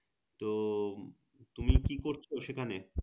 তো তুমি কি করছো সেখানে